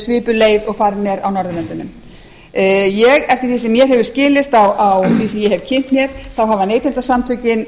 svipuð leið og farin er á norðurlöndunum eftir því sem mér hefur skilist og eftir því sem ég hef kynnt mér þá hafa neytendasamtökin